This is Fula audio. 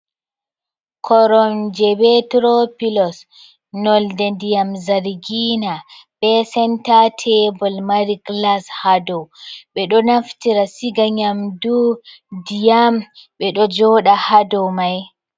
Koromje be tro pilos nolde ndiyam zargina, be senta tebol mari glas ha dou, ɓe ɗo naftira siga nyamdu, ndiyam, ɓe ɗo joɗa ha dou mai.